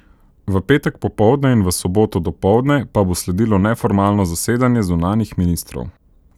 V petek popoldne in v soboto dopoldne pa bo sledilo neformalno zasedanje zunanjih ministrov.